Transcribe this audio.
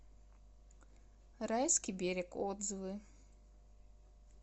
райский берег отзывы